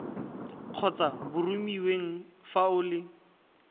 kgotsa boromiweng fa o le